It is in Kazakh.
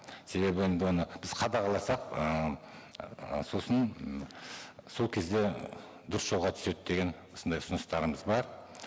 себебі енді оны біз қадағаласақ ы сосын м сол кезде дұрыс жолға түседі деген осындай ұсыныстарымыз бар